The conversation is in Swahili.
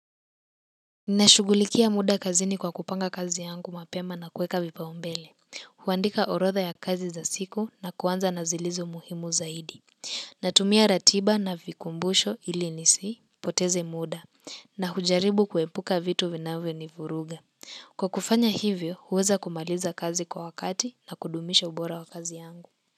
Nashughulikia muda kazini kwa kupanga kazi yangu mapema na kuweka vipaumbele, huandika orodha ya kazi za siku na kuanza na zilizo muhimu zaidi, natumia ratiba na vikumbusho ili nisipoteze muda, na hujaribu kuepuka vitu vinavyonivuruga. Kwa kufanya hivyo, huweza kumaliza kazi kwa wakati na kudumisha ubora wa kazi yangu.